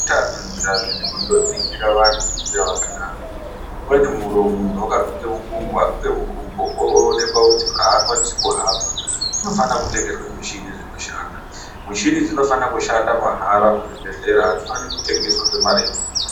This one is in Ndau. Zveutano izvi hazvidi kundoningira vantu veiuya vakadaro. Umweni muntu vakaguke mukumbo aguke mukumbo oonekwa kuti hakwanisi kuhamba kunofane kutengeswa michini dzinohamba. Michini idzi dzinofana kushanda mahara muzvibhedhlera hadzifane kutengeswa nemare inodhura.